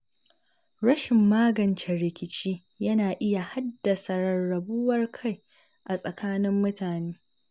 Rashin magance rikici yana iya haddasa rarrabuwar kai a tsakanin mutane.